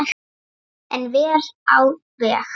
En vel á veg.